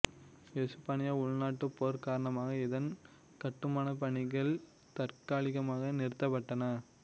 எசுப்பானிய உள்நாட்டுப் போர் காரணமாக இதன் கட்டுமானப்பணிகள் தற்காலிகமாக நிறுத்தப்பட்டன